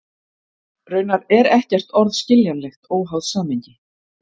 Raunar er ekkert orð skiljanlegt óháð samhengi.